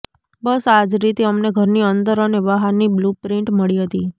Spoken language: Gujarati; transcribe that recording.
બસ આ જ રીતે અમને ઘરની અંદર અને બહારની બ્લૂપ્રિન્ટ મળી હતી